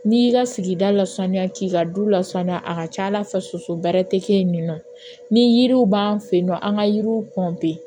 N'i y'i ka sigida lasaniya k'i ka du lasaniya a ka ca ala fɛ soso bɛrɛ tɛ kɛ yen nɔ ni yiriw b'an fɛ yen nɔ an ka yiriw